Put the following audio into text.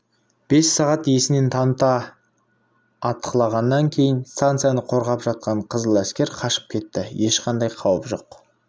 бес сағат есінен таныта атқылағаннан кейін станцияны қорғап жатқан қызыл әскер қашып кетті ешқандай қауіп жоқ